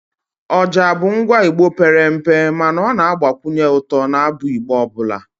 oja bụ ngwa Igbo pere mpe mana ọ na-agbakwunye ụtọ n'abụ Igbo ọbụla